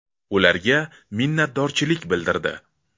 Ularga minnatdorchilik bildirdi.